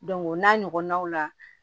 o n'a ɲɔgɔnnaw la